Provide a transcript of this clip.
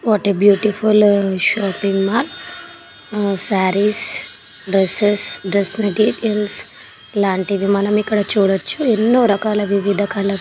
What a beautiful shopping mall saris dresses dress materials లాంటివి మనం ఇక్కడ చూడొచ్చు. ఎన్నో రకాల వివిధ కలర్ --